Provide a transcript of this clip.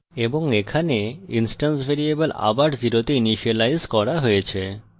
এবং এখানে instance variable আবার 0 তে ইনিসিয়েলাইজ করা হয়েছে